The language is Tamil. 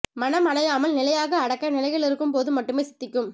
மனம் அலையாமல் நிலையாக அடக்க நிலையில் இருக்கும் போது மட்டுமே சித்திக்கும்